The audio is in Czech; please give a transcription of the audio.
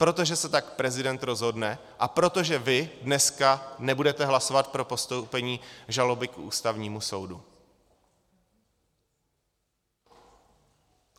Protože se tak prezident rozhodne a protože vy dneska nebudete hlasovat pro postoupení žaloby k Ústavnímu soudu.